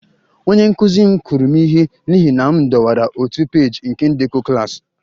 Onye nkụzi m kụrụ m ihe n'ihi na m dọwara otu peeji nke ndekọ klas